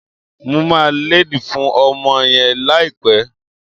Mo máa lédìí fún ọmọ yẹn láìpẹ́